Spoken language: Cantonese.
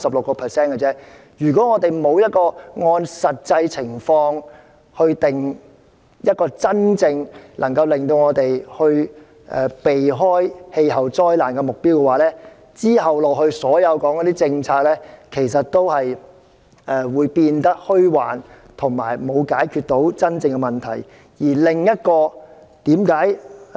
我認為，如果我們沒有按照實際情況，制訂一個真正能夠讓我們避開氣候災難的目標，那麼之後所有的政策討論也會變得虛幻，無助於真正解決問題。